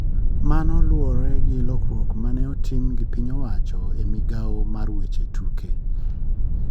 Mano luwore gi lokruok mane otim gi piny owacho e migao mar weche tuke.